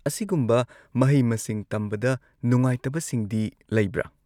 ꯑꯁꯤꯒꯨꯝꯕ ꯃꯍꯩ-ꯃꯁꯤꯡ ꯇꯝꯕꯗ ꯅꯨꯡꯉꯥꯏꯇꯕꯁꯤꯡꯗꯤ ꯂꯩꯕ꯭ꯔꯥ?